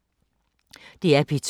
DR P2